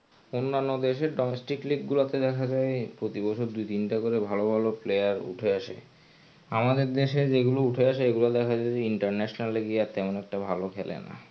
অন্যান্য দেশের domestic league গুলাতে দেখা যায় প্রতি বছর দুই তিনটা করে ভালো ভালো player উঠে আসে আমাদের দেশে যেগুলা উঠে আসে সেগুলা দেখা যায় যে international এ গিয়া তেমন একটা ভালো খেলে না.